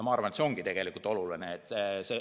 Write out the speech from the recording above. Ma arvan, et see ongi oluline.